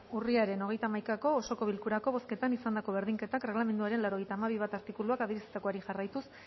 urriaren hogeita hamaikako osoko bilkurako bozketan izandako berdinketak erregelamenduaren laurogeita hamabi puntu bat artikuluak adierazitakoari jarraituz